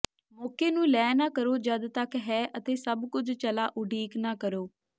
ਮੌਕੇ ਨੂੰ ਲੈ ਨਾ ਕਰੋ ਜਦ ਤੱਕ ਹੈ ਅਤੇ ਸਭ ਕੁਝ ਚਲਾ ਉਡੀਕ ਨਾ ਕਰੋ